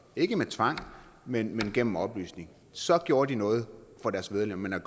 ikke med tvang men gennem oplysning så gjorde de noget for deres medlemmer